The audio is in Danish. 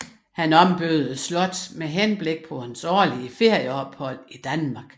Han ombyggede slottet med henblik på sine årlige ferieophold i Danmark